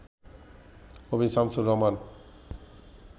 কবি শামসুর রাহমান